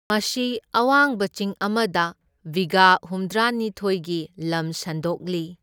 ꯃꯁꯤ ꯑꯋꯥꯡꯕ ꯆꯤꯡ ꯑꯃꯗ ꯕꯤꯘꯥ ꯍꯨꯝꯗ꯭ꯔꯥꯅꯤꯊꯣꯢꯒꯤ ꯂꯝ ꯁꯟꯗꯣꯛꯂꯤ꯫